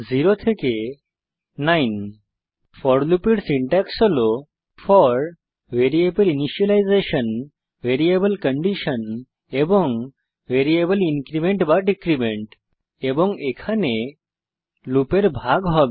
0 থেকে 9 for loop এর syntax হল for variable initialisation variable condition and variable increment or decrement এবং এখানে লুপের ভাগ হবে